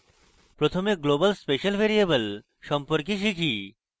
প্রথমে global special variable সম্পর্কে শিখব